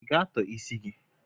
I ga-atọ isi gị?